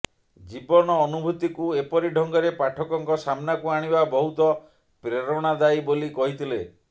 ଜୀବନ ଅନୁଭୂତିକୁ ଏପରି ଢଙ୍ଗରେ ପାଠକଙ୍କ ସାମ୍ନାକୁ ଆଣିବା ବହୁତ ପ୍ରେରଣାଦାୟୀ ବୋଲି କହିଥିଲେ